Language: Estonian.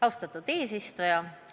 Austatud eesistuja!